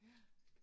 Ja